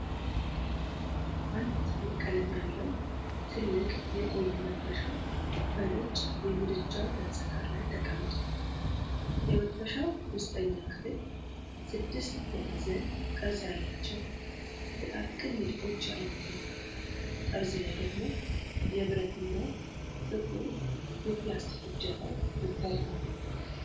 አንድ ጥቁር ቀለም ያለው ትልቅ የቆየ መጥበሻ በነጭ የምድጃ ገጽታ ላይ ተቀምጧል። የመጥበሻው ውስጠኛ ክፍል ስድስት ማዕዘን ቅርጽ ያላቸው ጥቃቅን ንድፎች ያሉት ነው፣ ጠርዝ ላይ ደግሞ የብረትና ጥቁር የፕላስቲክ እጀታው ይታያል።